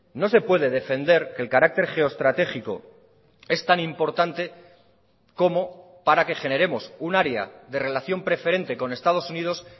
no se puede defender que el carácter geoestratégico es tan importante como para que generemos un área de relación preferente con estados unidos